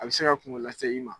A bɛ se ka kuŋo lase i ma.